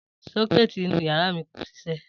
Só̩ké̩è̩tì inú yàrá mi kò s̩isé̩